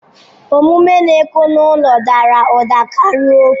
Omume na-ekwu n'olu dara ụda karịa okwu.